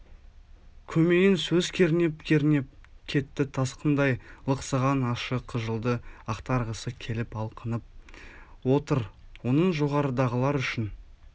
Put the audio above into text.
көмейін сөз кернеп-кернеп кетті тасқындай лықсыған ащы қыжылды ақтарғысы келіп алқынып отыр оның жоғарыдағылар үшін